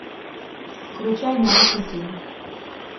включай нарушители